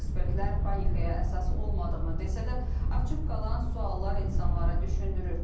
Ekspertlər panikaya əsas olmadığını desə də, açıq qalan suallar insanlara düşündürür.